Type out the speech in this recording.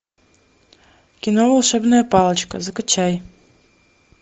кино волшебная палочка закачай